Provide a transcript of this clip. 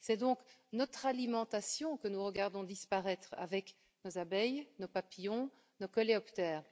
C'est donc notre alimentation que nous regardons disparaître avec nos abeilles, nos papillons, nos coléoptères.